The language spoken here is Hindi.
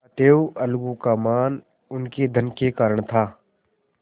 अतएव अलगू का मान उनके धन के कारण था